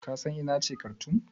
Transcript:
Ka san ina ce Karthoum?